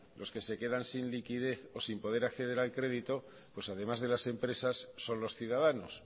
los que se quedan sin liquidez o sin poder acceder al crédito pues además de las empresas son los ciudadanos